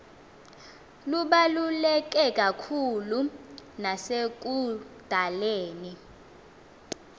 lubaluleke kakhulu nasekudaleni